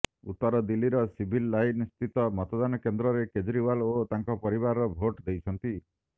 ଉତ୍ତର ଦିଲ୍ଲୀର ସିଭିଲ ଲାଇନସ୍ଥିତ ମତଦାନ କେନ୍ଦ୍ରରେ କେଜିରଓ୍ୱାଲ ଓ ତାଙ୍କ ପରିବାର ଭୋଟ ଦେଇଛନ୍ତି